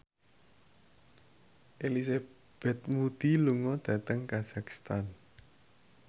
Elizabeth Moody lunga dhateng kazakhstan